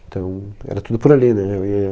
Então era tudo por ali, né? Eu ia